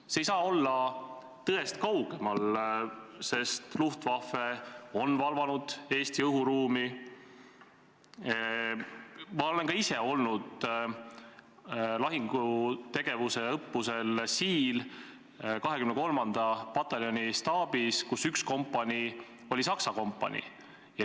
Midagi ei saa olla tõest kaugemal, sest Luftwaffe on valvanud Eesti õhuruumi, ma olen ka ise olnud lahingutegevuse õppuse Siil ajal 23. pataljoni staabis, kui üks kompanii oli Saksa kompanii.